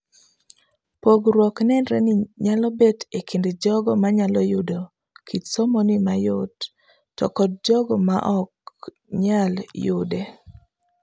Pogruok nenre ni nyalo bet ekind jogo manyalo yudo kit somoni mayot to kod jogo maok nyal yude.